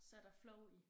Så der flow i